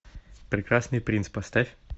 прекрасный принц поставь